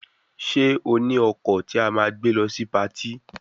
Ṣé o ní ọkọ̀ tí a máa gbé lọ sí patí